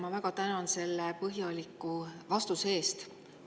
Ma väga tänan selle põhjaliku vastuse eest.